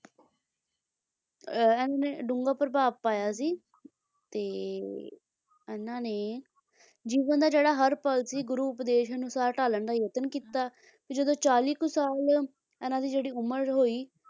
ਐ ਨੇ ਡੂੰਘਾ ਪ੍ਰਭਾਵ ਪਾਇਆ ਸੀ ਤੇ ਇਹਨਾਂ ਨੇ ਜੀਵਨ ਦਾ ਜਿਹੜਾ ਹਰ ਪਲ ਸੀ ਗੁਰੂ ਉਪਦੇਸ਼ ਨੂੰ ਸਾਰਾ ਢਾਲਣ ਦਾ ਯਤਨ ਕੀਤਾ ਤੇ ਜਦੋਂ ਚਾਲੀ ਕੁ ਸਾਲ ਇਹਨਾਂ ਦੀ ਜਿਹੜੀ ਉਮਰ ਹੋਈ,